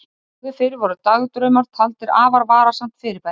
áður fyrr voru dagdraumar taldir afar varasamt fyrirbæri